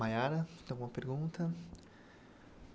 Mayara, tem alguma pergunta?